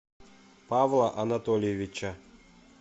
павла анатольевича